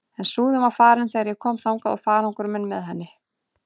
En Súðin var farin þegar ég kom þangað og farangur minn með henni.